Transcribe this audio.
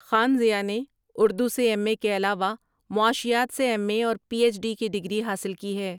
خان ضیاء نے ارو سے یم اے کے علاوہ معاشیات سے یم اے اور پی یچ ڈی کی ڈگری حاصل کی ہے ۔